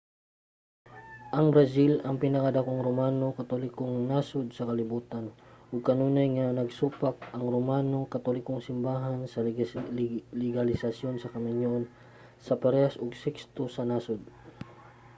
ang brazil ang pinakadakong romano katolikong nasud sa kalibutan ug kanunay nga nagsupak ang romano katolikong simbahan sa legalisasyon sa kaminyoon sa parehas og sekso sa nasud